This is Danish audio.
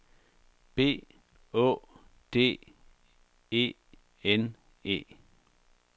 B Å D E N E